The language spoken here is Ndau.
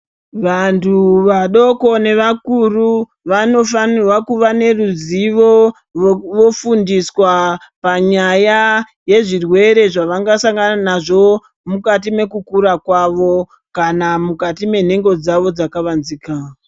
Vantu vadoko nevakuru vanofanirwa kuva neruzivo vofundiswa panyaya yezvirwere zvavangasangana nazvo mukati mekukura kwavo kana mukati menhengo dzavo dzakavanzika.